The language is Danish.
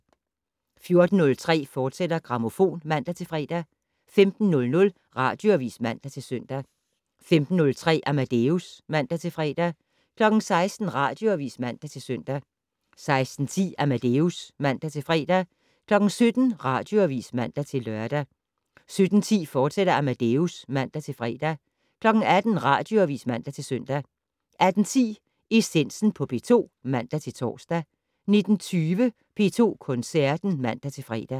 14:03: Grammofon, fortsat (man-fre) 15:00: Radioavis (man-søn) 15:03: Amadeus (man-fre) 16:00: Radioavis (man-søn) 16:10: Amadeus (man-fre) 17:00: Radioavis (man-lør) 17:10: Amadeus, fortsat (man-fre) 18:00: Radioavis (man-søn) 18:10: Essensen på P2 (man-tor) 19:20: P2 Koncerten (man-fre)